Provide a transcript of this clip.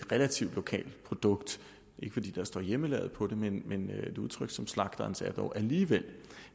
relativt lokalt produkt ikke fordi der står hjemmelavet på det men et udtryk som slagterens er dog alligevel